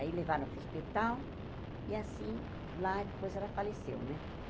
Aí levaram para o hospital e, assim, lá depois ela faleceu, né?